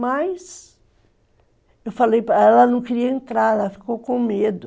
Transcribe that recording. Mas, eu falei para ela, ela não queria entrar, ela ficou com medo.